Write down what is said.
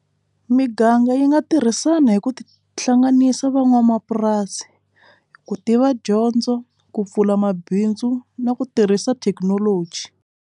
Miganga yi nga tirhisana hi ku hlanganisa van'wamapurasi ku tiva dyondzo ku pfula mabindzu na ku tirhisa thekinoloji.